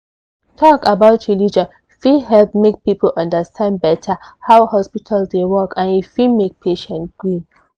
talk about religion fit help make people understand better how hospital dey work and e fit make patient gree